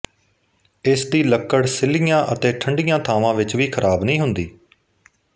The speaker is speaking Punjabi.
ਇਸ ਦੀ ਲੱਕੜ ਸਿਲ੍ਹੀਆਂ ਅਤੇ ਠੰਡੀਆਂ ਥਾਵਾਂ ਵਿਚ ਵੀ ਖਰਾਬ ਨਹੀਂ ਹੁੰਦੀ